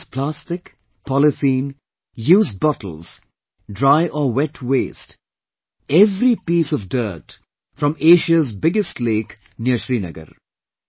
He clears plastic, polythene, used bottles, dry or wet waste every piece of dirt from Aisa's biggest lake near Srinagar